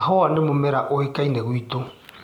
Kahũa nĩ mũmera ũĩkaine gwitu.